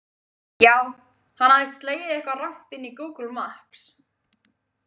Já, hann hafði slegið eitthvað rangt inn í Google Maps.